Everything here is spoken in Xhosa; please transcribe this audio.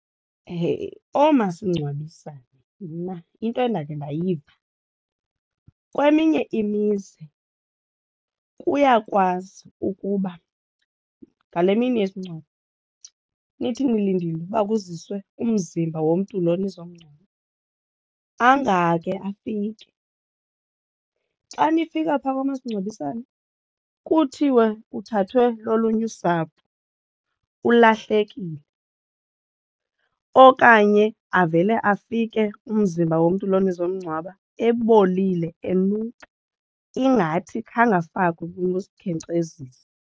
Oomasingcwabisane mna into endakhe ndayiva kweminye imizi kuyakwazi ukuba ngale mini yesingcwabo nithi ndilindile uba kwaziswe umzimba womntu loo nizomngcwaba angake afike. Xa nifika phaa kwamasingcwabisane kuthiwe uthathwe lolunye usapho, ulahlekile okanye avele afike umzimba womntu lona nizomngcwaba ebolile, enuka ingathi khange afakwe kunosikhenkcezisi.